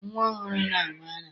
Nnwa ọhụrụ na-aṅụ ara.